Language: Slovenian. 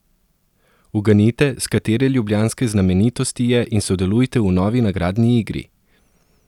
Uganite, s katere ljubljanske znamenitosti je in sodelujte v novi nagradni igri!